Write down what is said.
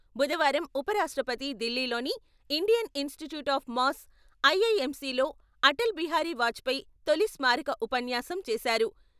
బుధవారం ఉప రాష్ట్రపతి ఢిల్లీలోని Indian Institute of Mass, IIMC లో అటల్ బిహారీ వాజ్పేయి తొలి స్మారక ఉపన్యాసం చేశారు.